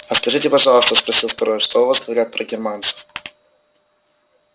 а скажите пожалуйста спросил второй что у вас говорят про германцев